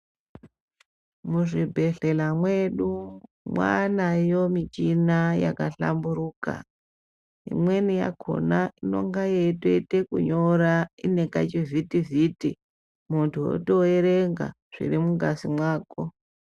Muzvibhedhlela mwedu mwaanayo michina yakahlamburuka imweni yakhona inonga yeitoita kunyora ngekachivhitivhiti muntu otoerenga zviri mungazi mwako